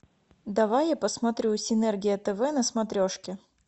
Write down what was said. давай я посмотрю синергия тв на смотрешке